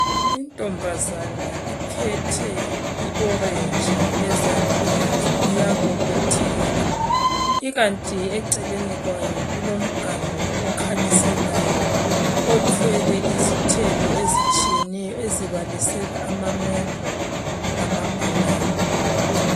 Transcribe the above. Intombazana iphethe i orange ezandleni iyabobotheka ikanti eceleni kwayo kulomganu okhanyiselayo othwele izithelo ezitshiyeneyo ezibalisela amamengo lamabhanana